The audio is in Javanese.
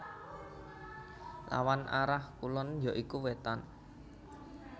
Lawan arah kulon ya iku Wétan